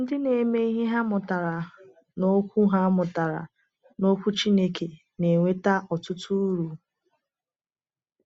Ndị na-eme ihe ha mụtara n’Okwu ha mụtara n’Okwu Chineke na-enweta ọtụtụ uru.